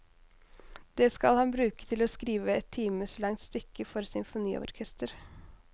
Det skal han bruke til å skrive et times langt stykke for symfoniorkester.